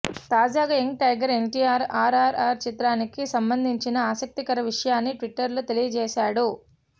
తాజాగా young tiger NTR RRR చిత్రానికి సంబంధించిన ఆసక్తికర విషయాన్ని ట్విట్టర్లో తెలియజేశాడు